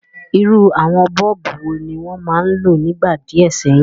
Irú àwon bulb wo ni won ma n lo nígbà díẹ̀ séyìn?